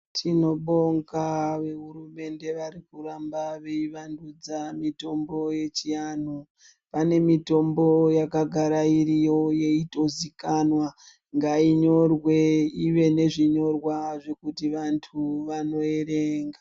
Tinobonga vehurumende varikuramba veivandudza mitombo yechianhu. Pane mitombo yakagara iriyo yeitozikana, ngainyorwe ive nezvinyorwa zvekuti vantu vanoerenga.